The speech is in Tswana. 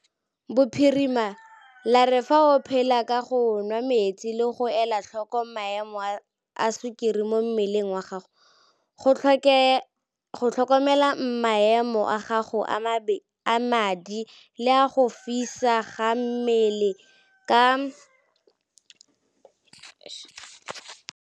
Bophirima la re fa o phela ka go nwa metsi le go ela tlhoko maemo a sukiri mo mmeleng wa gago, go tlhokomela maemo a gago a madi le a go fisa ga mmele ke tsona dikgato tse di botlhokwa thata mo go laoleng COVID-19, bogolosegolo mo balwetseng ba ba nang le malwetse a a iphitlhileng.